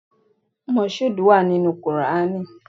Moshood wà nínú Qùrání.